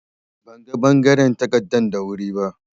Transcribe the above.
Ban ga bangaren takardan da wuri ba.